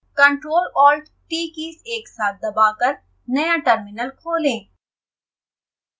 ctrl+alt+t keys एक साथ दबाकर नया टर्मिनल खोलें